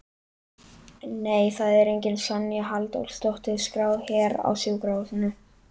Nei, það er engin Sonja Halldórsdóttir skráð hér á sjúkrahúsinu